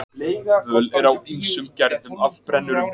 Völ er á ýmsum gerðum af brennurum.